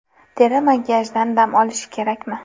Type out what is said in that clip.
Teri makiyajdan dam olishi kerakmi?